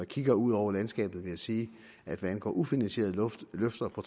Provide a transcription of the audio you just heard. kigger ud over landskabet vil jeg sige at hvad angår ufinansierede løfter på